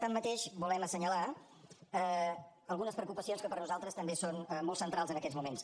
tanmateix volem assenyalar algunes preocupacions que per nosaltres també són molt centrals en aquests moments